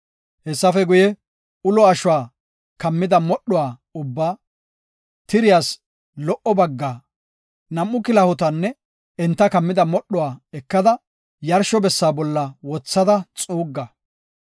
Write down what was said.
Hessafe guye, ulo ashuwa kammida modhuwa ubbaa, tiriyaas lo77o baggaa, nam7u kilahotanne enta kammida modhuwa ekada, yarsho bessaa bolla wothada xuugga.